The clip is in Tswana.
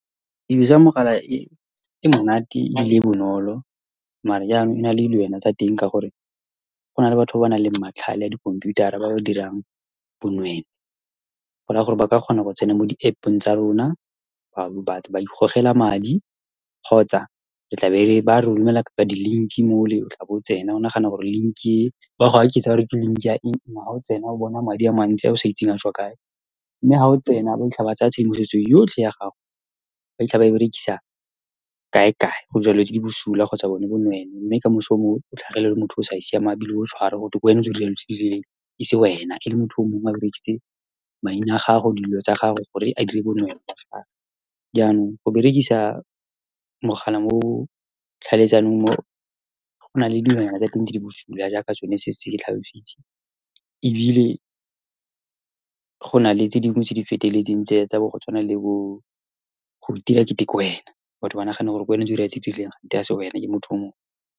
Tiriso ya mogala e monate, ebile e bonolo. Mare yanong e na le dilwana tsa teng, ka gore go na le batho ba ba nang le matlhale a dikhomputara, ba ba dirang bonweenwee goraya gore ba ka kgona go tsena mo di-App-ong tsa rona, ba ikgogela madi kgotsa e tlabe ba re romelela ka-ka di-link-i, mole o tla bo o tsena o nagana gore link-i e, ba go aketsa, ka gore ke link-i ya eng-eng. Ha o tsena, o bona madi a mantsi ao sa itseng a tswa kae. Mme ha o tsena, ba fitlha ba tsaya tshedimosetso yotlhe ya gago, ba fitlha ba e berekisa kae-kae go dira dilo tse di bosula kgotsa bone bonweenwee. Mme kamoso o mong o tlhagelele, ole motho o sa siamang, ebile o tswarwa, gotwe kwena o dirileng dilo tse di rileng, e se wena, ele motho o mongwe a berekisitse maina a gago, dilo tsa gago, gore a dire bonweenwee. Jaanong, go berekisa mogala mo tlhaeletsanong , gona le dilonyana tsa teng tse di bosula, jaaka tsone, setse ke tlhalositse. Ebile, gona le tse dingwe tse di feteletseng tse, tsa bo go tshwana le bo go itira ekete kwena, batho ba nagane gore kwena o kante ha se wena, ke motho o mongwe.